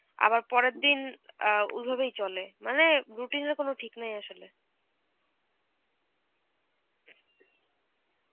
আবার পরের দিন অ্যাঁ ঐভাবেই চলে, মানে routine এর কোন ঠিক নেই আসলে.